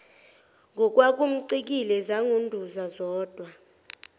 ngokwakumcikile zangunduza zodwa